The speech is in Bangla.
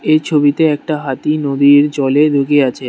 এই ছবিতে একটা হাতি নদীর জলে আছে।